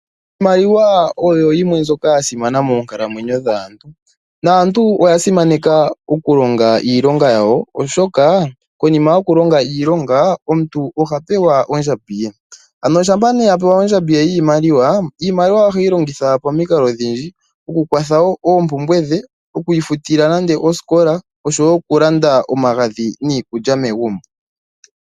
Iimaliwa oyo yimwe mbyoka ya simana moonkalamwenyo dhaantu. Naantu oya simaneka oku longa iilonga yawo oshoka konima yoku longa iilonga omuntu oha pewa ondjambi ye. Ano shampa a pewa nee ondjambi ye yiimaliwa, iimaliwa oheyi longitha po mikalo odhindji oku kwatha wo oompumbwe dhe, oku futila nande osikola osho wo oku landa omagadhi niikulya megumbo.